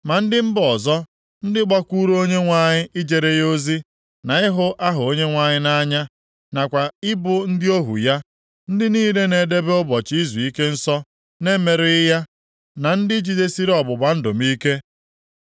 Ma ndị mba ọzọ ndị gbakwuuru Onyenwe anyị ijere ya ozi, na ịhụ aha Onyenwe anyị nʼanya, nakwa ị bụ ndị ohu ya, ndị niile na-edebe ụbọchị izuike nsọ na-emerụghị ya, na ndị jidesiri ọgbụgba ndụ m ike,